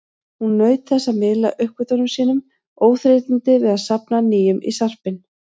Hún naut þess að miðla uppgötvunum sínum, óþreytandi við að safna nýjum í sarpinn.